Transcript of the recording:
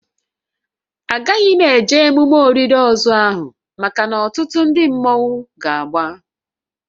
A gaghị m eje emume olili ozu ahụ maka na ọtụtụ ndị mmọnwu ga-agba